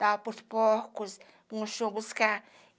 Dava para os porcos no chão buscar.